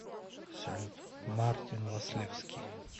салют мартин васлевски